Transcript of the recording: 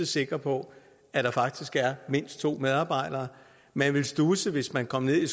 sikre på at der faktisk er mindst to medarbejdere man ville studse hvis man kom ned